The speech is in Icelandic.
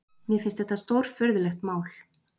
Mér finnst þetta stórfurðulegt mál